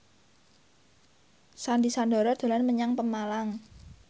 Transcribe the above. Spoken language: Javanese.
Sandy Sandoro dolan menyang Pemalang